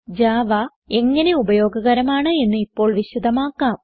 Java എങ്ങനെ ഉപയോഗകരമാണ് എന്ന് ഇപ്പോൾ വിശദമാക്കാം